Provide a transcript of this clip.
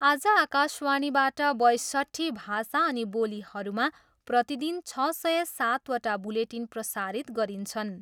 आज आकाशवाणीबाट बयसट्ठी भाषा अनि बोलीहरूमा प्रतिदिन छ सय सातवटा बुलेटिन प्रसारित गरिन्छन्।